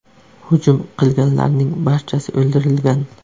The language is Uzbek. Hujum qilganlarning barchasi o‘ldirilgan.